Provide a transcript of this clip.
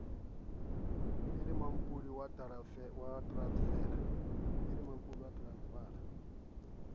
e le mampodi wa teransefala